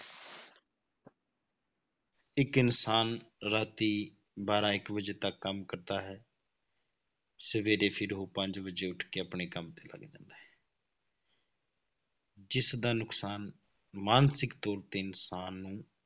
ਇੱਕ ਇਨਸਾਨ ਰਾਤੀ ਬਾਰਾਂ ਇੱਕ ਵਜੇ ਤੱਕ ਕੰਮ ਕਰਦਾ ਹੈ ਸਵੇਰੇ ਫਿਰ ਉਹ ਪੰਜ ਵਜੇ ਉੱਠ ਕੇ ਆਪਣੇ ਕੰਮ ਤੇ ਲੱਗ ਜਾਂਦਾ ਹੈ ਜਿਸ ਦਾ ਨੁਕਸਾਨ ਮਾਨਸਿਕ ਤੌਰ ਤੇ ਇਨਸਾਨ ਨੂੰ